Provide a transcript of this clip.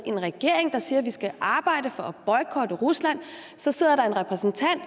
en regering der siger at vi skal arbejde for at boykotte rusland og så sidder der en repræsentant